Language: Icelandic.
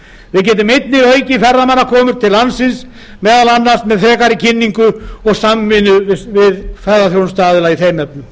við getum einnig aukið komu ferðamanna til landsins meðal annars með frekari kynningu og samvinnu við ferðaþjónustuaðila í þeim efnum